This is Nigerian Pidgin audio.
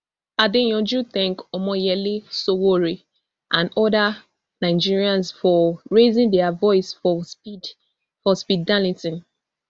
adeyanju thank omoyele sowore and oda nigerians for raising dia voice for speed for speed darlington